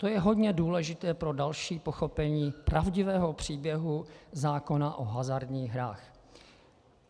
To je hodně důležité pro další pochopení pravdivého příběhu zákona o hazardních hrách.